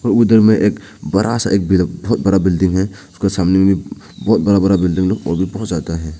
और उधर में एक बड़ा सा एकदम बहोत बड़ा बड़ा बिल्डिंग है उसका सामने मे भी बहोत बड़ा बड़ा बिल्डिंग लोग बहोत ज्यादा है।